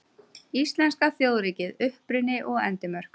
Íslenska þjóðríkið: Uppruni og endimörk.